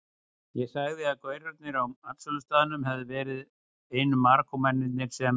Ég sagði að gaurarnir á matsölustaðnum hefðu verið einu Marokkómennirnir sem